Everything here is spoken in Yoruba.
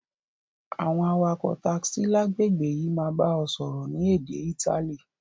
Àwon awakò taxi lágbègbè yi máa ba o sọ́rọ́ ni édé Itali